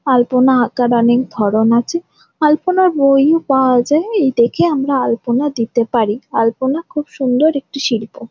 আলপনা আঁকার অনেক ধরণ আছে আলপনার বই ও পাওয়া যায় এই দেখে আমরা আলপনা দিতে পারি আলপনা খুব সুন্দর একটি শিল্প।